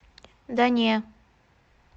да не